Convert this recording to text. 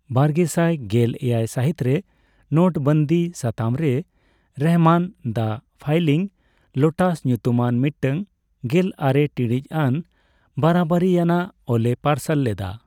ᱵᱟᱨᱜᱮᱥᱟᱭ ᱜᱮᱞ ᱮᱭᱟᱭ ᱥᱟᱹᱦᱤᱛᱨᱮ ᱱᱳᱴᱵᱚᱱᱫᱤ ᱥᱟᱛᱟᱢ ᱨᱮ ᱨᱚᱦᱚᱢᱟᱱ 'ᱫᱟ ᱯᱷᱞᱟᱭᱤᱝ ᱞᱳᱴᱟᱥ' ᱧᱩᱛᱩᱢᱟᱱ ᱢᱤᱫᱴᱟᱝ ᱜᱮᱞ ᱟᱨᱮ ᱴᱤᱲᱤᱡ ᱟᱱ ᱵᱟᱨᱟᱵᱟᱨᱤᱭᱟᱱᱟᱜ ᱚᱞᱮ ᱯᱟᱨᱥᱟᱞ ᱞᱮᱫᱟ ᱾